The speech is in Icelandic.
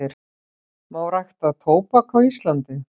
Má rækta tóbak á Íslandi?